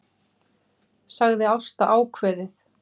sagði Ásta ákveðið.